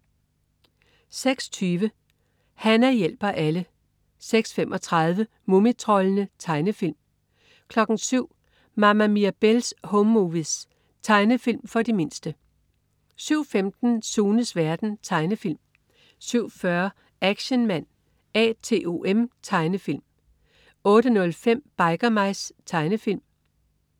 06.20 Hana hjælper alle 06.35 Mumitroldene. Tegnefilm 07.00 Mama Mirabelle's Home Movies. Tegnefilm for de mindste 07.15 Sunes verden. Tegnefilm 07.40 Action Man A.T.O.M. Tegnefilm 08.05 Biker Mice. Tegnefilm